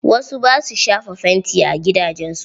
Wasu ba sua shafa fanti a gidajen su.